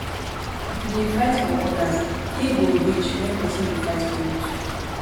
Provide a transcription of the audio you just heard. if you dey fight for odas day go reach when pesin go fight for you too